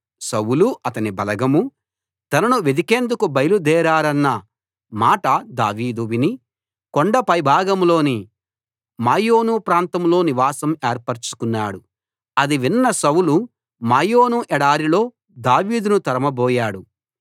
సౌలు అతని బలగమూ తనను వెదికేందుకు బయలుదేరారన్న మాట దావీదు విని కొండ పైభాగంలోని మాయోను ప్రాంతంలో నివాసం ఏర్పరచుకున్నాడు ఆది విన్న సౌలు మాయోను ఎడారిలో దావీదును తరుమబోయాడు